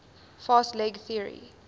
fast leg theory